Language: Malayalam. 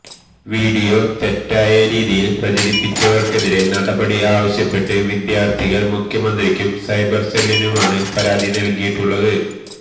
വീഡിയോ തെറ്റായ രീതിയില് പ്രചരിപ്പിച്ചവര്ക്കെതിരെ നടപടി ആവശ്യപ്പെട്ട് വിദ്യാര്ത്ഥികള് മുഖ്യമന്ത്രിക്കും സൈബര് സെല്ലിനുമാണ് പരാതി നല്കിയിട്ടുളളത്